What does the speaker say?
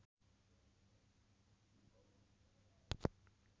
Syaharani olohok ningali Jo In Sung keur diwawancara